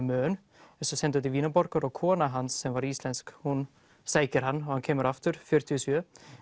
mön er svo sendur til Vínarborgar og kona hans sem var íslensk hún sækir hann og hann kemur aftur fjörutíu og sjö